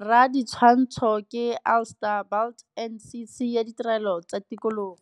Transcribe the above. Raditshwantsho ke Alistair Burt NCC ya Ditirelo tsa Tikologo.